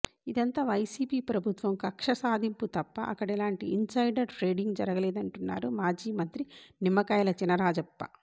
ఇదంతా వైసీపీ ప్రభుత్వం కక్ష సాధింపు తప్ప అక్కడ ఎలాంటి ఇన్సైడర్ ట్రేడింగ్ జరగలేదంటున్నారు మాజీ మంత్రి నిమ్మకాయల చినరాజప్ప